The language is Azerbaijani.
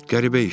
Qəribə işdir.